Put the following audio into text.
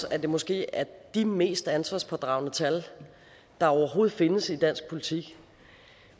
at det måske er de mest ansvarspådragende tal der overhovedet findes i dansk politik